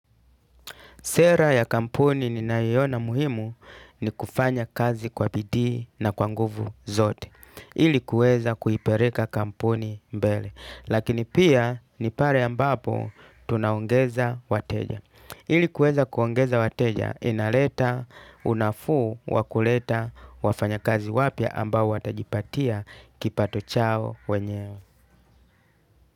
Sera ya kampuni ninayoona muhimu ni kufanya kazi kwa bidii na kwanguvu zote. Ili kueza kuipeleka kampuni mbele. Lakini pia ni pale ambapo tunaongeza wateja. Ili kueza kuongeza wateja inaleta unafuu wakuleta wafanya kazi wapya ambao watajipatia kipato chao wenyewe.